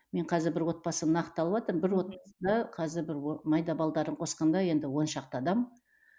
мен қазір бір отбасын нақтылаватырмын бір қазір бір майда балаларын қосқанда енді оншақты адам